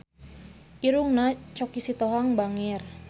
Irungna Choky Sitohang bangir